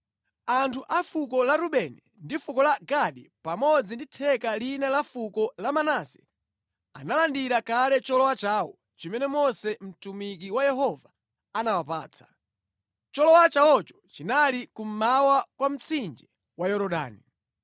Anthu a fuko la Rubeni ndi fuko la Gadi pamodzi ndi theka lina la fuko la Manase analandira kale cholowa chawo chimene Mose mtumiki wa Yehova anawapatsa. Cholowa chawocho chinali kummawa kwa mtsinje wa Yorodani.